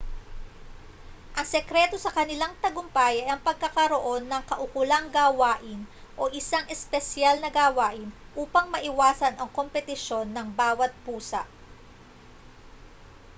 ang sekreto sa kanilang tagumpay ay ang pagkakaroon ng kaukulang gawain o isang espesyal na gawain upang maiwasan ang kompetisyon ng bawat pusa